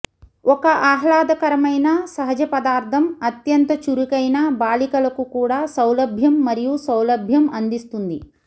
ఒక ఆహ్లాదకరమైన సహజ పదార్థం అత్యంత చురుకైన బాలికలకు కూడా సౌలభ్యం మరియు సౌలభ్యం అందిస్తుంది